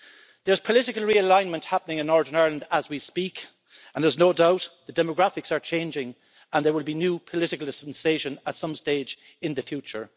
There is political realignment happening in Northern Ireland as we speak, and there's no doubt the demographics are changing and there will be a new political dispensation at some stage in the future.